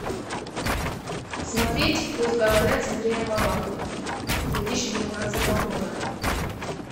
смотреть пусть говорят с андреем малаховым две тысячи девятнадцатого года